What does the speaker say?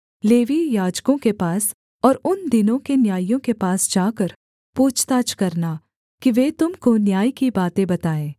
लेवीय याजकों के पास और उन दिनों के न्यायियों के पास जाकर पूछताछ करना कि वे तुम को न्याय की बातें बताएँ